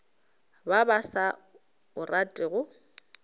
ba ba sa o ratego